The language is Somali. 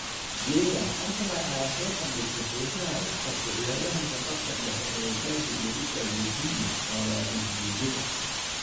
(Mirror) Arsenal ayaa soo bandhigtay xiisaha ay u qabto ciyaaryahanka khadka dhexe ee Chelsea iyo Italy Jorginho, oo 28 jir ah.